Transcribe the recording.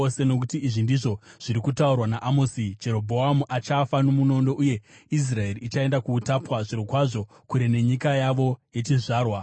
Nokuti izvi ndizvo zviri kutaurwa naAmosi: “ ‘Jerobhoamu achafa nomunondo, uye Israeri ichaenda kuutapwa, zvirokwazvo kure nenyika yavo yechizvarwa.’ ”